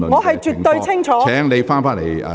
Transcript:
我絕對清楚。